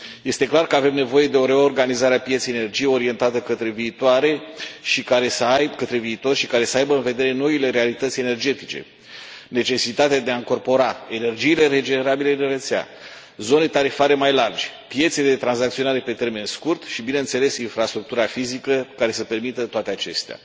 Este clar că avem nevoie de o reorganizare a pieței energiei orientată către viitor și care să aibă în vedere noile realități energetice necesitatea de a încorpora energiile regenerabile în rețea, zone tarifare mai largi, piețe de tranzacționare pe termen scurt și, bineînțeles, infrastructura fizică care să permită toate acestea.